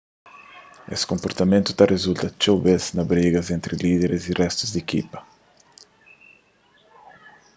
es konportamentu ta rizulta txeu bes na brigas entri líderis y réstu di ekipa